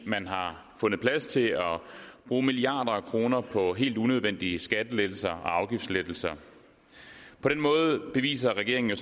man har fundet plads til at bruge milliarder af kroner på helt unødvendige skattelettelser og afgiftslettelser på den måde beviser regeringen jo